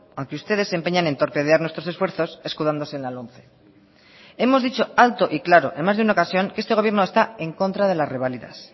aunque ustedes se empeñan en torpedear nuestros esfuerzos escudándose en la lomce hemos dicho alto y claro en más de una ocasión que este gobierno está en contra de las reválidas